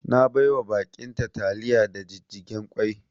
Na baiwa ba'in ta taliya da jijjigen kwai